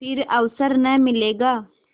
फिर अवसर न मिलेगा